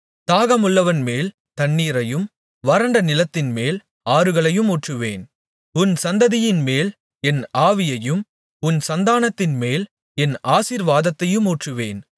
தாகமுள்ளவன்மேல் தண்ணீரையும் வறண்ட நிலத்தின்மேல் ஆறுகளையும் ஊற்றுவேன் உன் சந்ததியின்மேல் என் ஆவியையும் உன் சந்தானத்தின்மேல் என் ஆசீர்வாதத்தையும் ஊற்றுவேன்